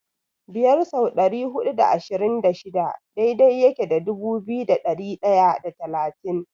Biyar sau dari hudu da ashirin da shida daidai yake da dubu biyu da ɗari ɗaya da talatin.